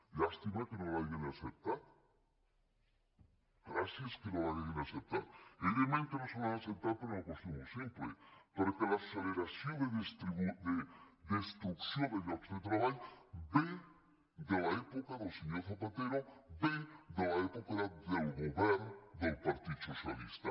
llàstima que no l’hagin acceptat gràcies que no l’hagin acceptat i evidentment que no la hi han acceptat per una qüestió molt simple perquè l’acceleració de destrucció de llocs de treball ve de l’època del senyor zapatero ve de l’època del govern del partit socialista